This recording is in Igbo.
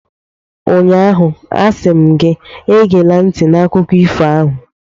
Ụnyaahụ, a sị m gị, egela ntị n'akụkọ ifo ahụ!